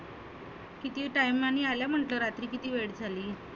किती time नी आलं म्हटलं रात्री कीती वेळ झाला?